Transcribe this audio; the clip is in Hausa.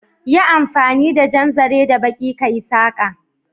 Yi amfani da jan zaren da baƙi kayi saƙa